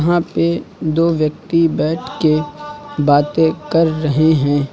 यहाँ पे दो व्यक्ति बैठ के बातें कर रहे हैं।